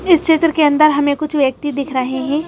इस चित्रके अंदर हमें कुछ व्यक्ति दिख रहे हैं।